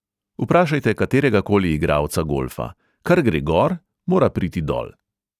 Vprašajte kateregakoli igralca golfa: kar gre gor, mora priti dol.